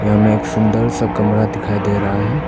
यहां में एक सुन्दर सा कमरा दिखाई दे रहा है।